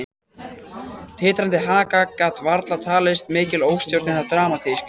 Titrandi haka gat varla talist mikil óstjórn eða dramatík.